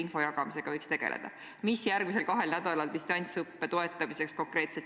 Küsija on Katri Raik, küsimus on haridus- ja teadusminister Mailis Repsile eriolukorra mõjust Eesti haridusele.